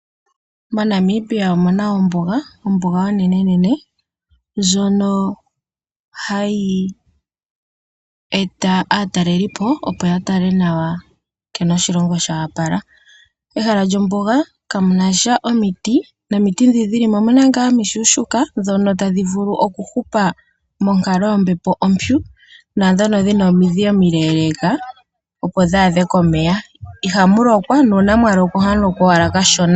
MoNamibia omu na ombuga, ombuga onenenene ndjono hayi eta aatalelipo, opo ya tale nawa nkene oshilongo sho opala. Mombuga kamu na sha omiti nomiti ndhoka dhi li mo omishona lela ndhoka tadhi vulu okuhupa monkalo yombepo ompyu naandhoka dhi na omidhi omileeleeka, opo dhi adhe komeya. Ihamu lokwa nuuna mwa lokwa ohamu lokwa owala kashona.